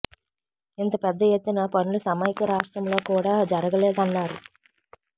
ఇంత పెద్ద ఎత్తున పనులు సమైక్య రాష్ట్రంలో కూడా జరగలేదన్నారు